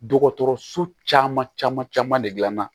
Dɔgɔtɔrɔso caman caman de dilanna